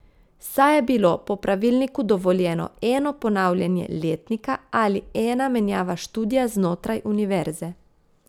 Saj je bilo po pravilniku dovoljeno eno ponavljanje letnika ali ena menjava študija znotraj univerze.